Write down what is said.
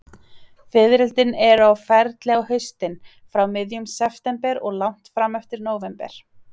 Fiðrildin eru á ferli á haustin, frá miðjum september og langt fram eftir nóvember.